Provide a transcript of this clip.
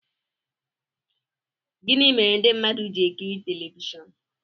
gịnị mere ndị mmadụ ji-ekiri telivishọn